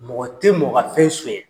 Mɔgɔ te mɔgɔ ka fɛn suɲɛ.